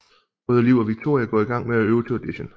Både Liv og Victoria går i gang med at øve til Audition